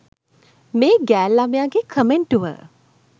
මේ ගෑල්ළමයා ගේ කමෙන්ටුව